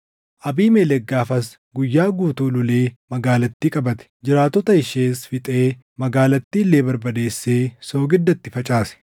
Abiimelek gaafas guyyaa guutuu lolee magaalattii qabate; jiraattota ishees fixee magaalattii illee barbadeessee soogidda itti facaase.